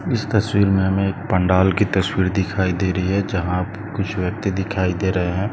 इस तस्वीर मे हमे एक पंडाल की तस्वीर दिखाई दे रही है जहा कुछ व्यक्ति दिखाई दे रहे है।